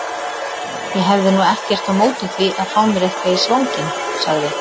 Ég hefði nú ekkert á móti því að fá mér eitthvað í svanginn sagði